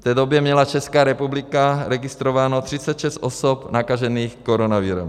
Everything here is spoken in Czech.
V té době měla Česká republika registrováno 36 osob nakažených koronavirem.